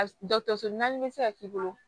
Dɔkɔtɔrɔso naani be se ka k'i bolo